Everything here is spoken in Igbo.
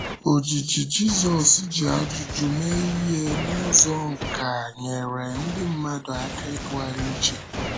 Ojiji Jízọs jị ajụjụ mee ihe n’ụzọ nkà nyere ndị mmadụ aka ịtụgharị uche.